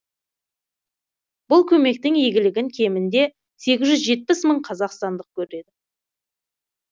бұл көмектің игілігін кемінде сегіз жүз жетпіс мың қазақстандық көреді